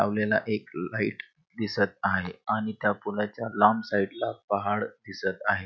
लावलेला एक लाइट दिसत आहे आणि त्या पुलाच्या लांब साइड ला पहाड दिसत आहे.